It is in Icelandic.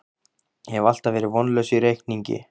Ég hef alltaf verið vonlaus í reikningi